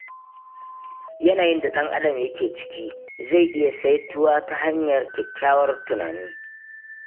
Yanayin da ɗan'adam yake ciki zai iya saituwa ta hanyar kyakkyawan tunani.